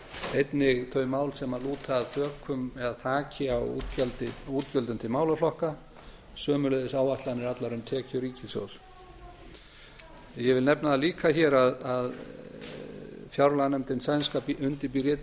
einnig þau mál sem lúta að tökum eða taki á útgjöldum til málaflokka sömuleiðis áætlanir allar um tekjur ríkissjóðs ég vil nefna það líka hér að fjárlaganefndin sænska undirbýr